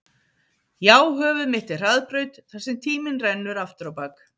Já höfuð mitt er hraðbraut þar sem tíminn rennur aftur á bak